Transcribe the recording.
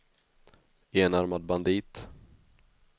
enarmad bandit